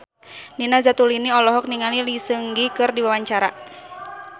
Nina Zatulini olohok ningali Lee Seung Gi keur diwawancara